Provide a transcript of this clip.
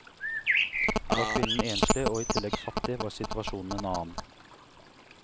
Var kvinnen enslig, og i tillegg fattig, var situasjonen en annen.